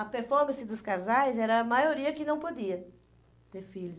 A performance dos casais era a maioria que não podia ter filhos.